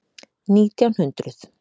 Nítján hundruð